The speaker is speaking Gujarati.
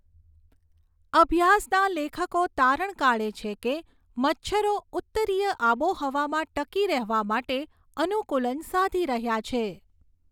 અભ્યાસના લેખકો તારણ કાઢે છે કે મચ્છરો ઉત્તરીય આબોહવામાં ટકી રહેવા માટે અનુકૂલન સાધી રહ્યા છે.